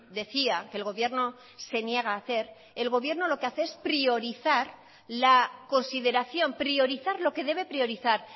decía que el gobierno se niega a hacer el gobierno lo que hace es priorizar la consideración priorizar lo que debe priorizar